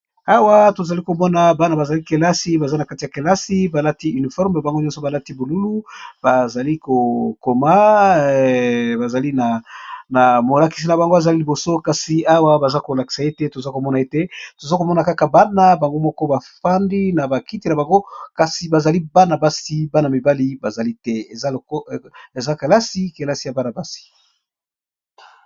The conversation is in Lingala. Awa tozali komona bana bazali kelasi baza na kati ya kelasi balati uniforme pe bango nyonso balati bolulu bazali kokoma bazali na molakisi na bango azali liboso kasi awa baza kolakisa ete toza komona ete toza komona kaka bana bango moko bafandi na bakiti na bango kasi bazali bana basi bana mibali bazali te eza kelasi kelasi ya banabasi.